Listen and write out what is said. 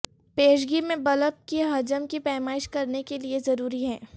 پیشگی میں بلب کی حجم کی پیمائش کرنے کے لئے ضروری ہے